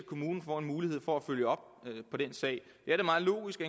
kommunen får en mulighed for at følge op på den sag det er da meget logisk